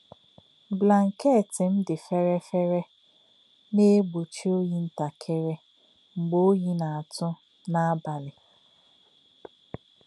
Blànkèt m dị fere-fere na-egbochi òyì ǹtàkìrì mgbe òyì na-atù n’abalị.